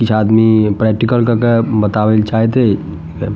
कुछ आदमी प्रैक्टिकल कर के बतावेल चाहेत है। --